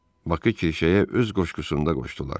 Bakı kirşəyə öz qoşqusunda qoşdular.